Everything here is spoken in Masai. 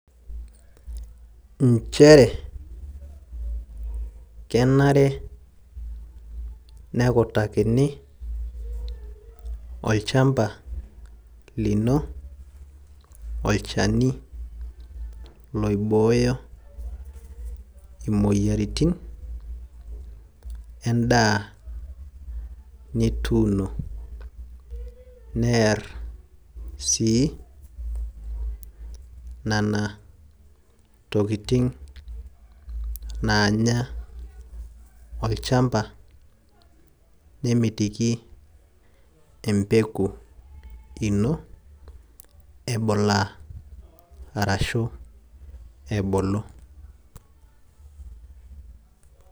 inchere, kenare, nekutakini, olchampa, lino olchani loibooyo imoyiaritin eda nituuno, ner sii nena tokitin naanya olchamopa. nemitiki empeku ino ebulaa arashu ebulu.